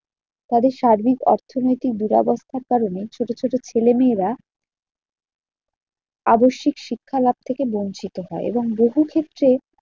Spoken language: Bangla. তবে সার্বিক অর্থনৈতিক দুরাবস্থার কারণে ছোট ছোট ছেলেমেয়েরা আবশ্যিক শিক্ষা লাভ থেকে বঞ্চিত হয় এবং বহুক্ষেত্রে